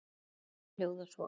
Texti Ara hljóðar svo